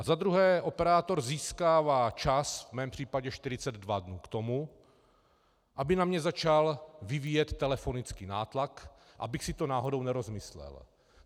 A za druhé operátor získává čas - v mém případě 42 dnů, k tomu, aby na mě začal vyvíjet telefonický nátlak, abych si to náhodou nerozmyslel.